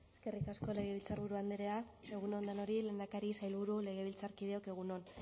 eskerrik asko legebiltzarburu andrea egun on denori lehendakari sailburu legebiltzarkideok egun on